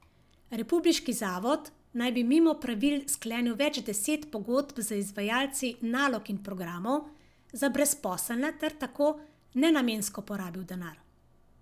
Republiški zavod naj bi mimo pravil sklenil več deset pogodb z izvajalci nalog in programov za brezposelne ter tako nenamensko porabil denar.